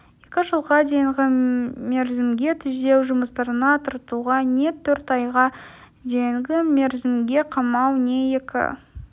екі жылға дейінгі мерзімге түзеу жұмыстарына тартуға не төрт айға дейінгі мерзімге қамау не екі